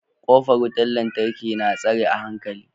kofar wutan lantarki na tsare a hankali.